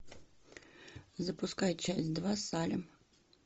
запускай часть два салем